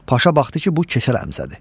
Paşa baxdı ki, bu Keçəl Həmzədir.